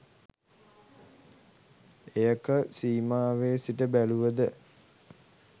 එය ක සීමාවේ සිට බැලුවද